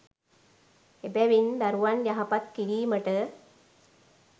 එබැවින් දරුවන් යහපත් කිරීමට